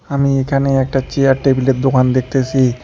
আমি এখানে একটা চেয়ার টেবিল -এর দোকান দেখতেসি।